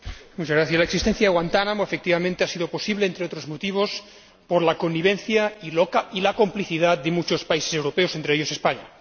Señor Presidente, la existencia de Guantánamo, efectivamente, ha sido posible, entre otros motivos, por la connivencia y la complicidad de muchos países europeos, entre ellos, España.